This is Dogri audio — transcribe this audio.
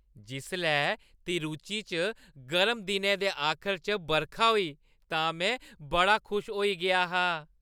जिसलै तिरुचि च गर्म दिनै दे आखर च बरखा होई तां में बड़ा खुश होई गेआ हा।